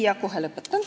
Jah, kohe lõpetan.